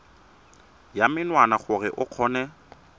ya menwana gore o kgone